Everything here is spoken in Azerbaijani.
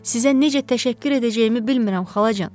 Sizə necə təşəkkür edəcəyimi bilmirəm xalacan.